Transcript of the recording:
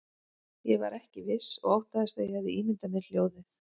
Ég var ekki viss og óttaðist að ég hefði ímyndað mér hljóðið.